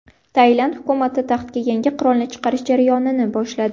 Tailand hukumati taxtga yangi qirolni chiqarish jarayonini boshladi.